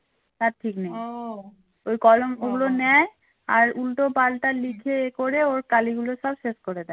আর উল্টোপাল্টা লিখে এ করে কাiলি গুলো সব শেষ করে দেয়